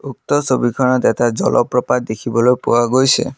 উক্ত ছবিখনত এটা জলপ্ৰপাত দেখিবলৈ পোৱা গৈছে।